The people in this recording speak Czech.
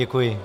Děkuji.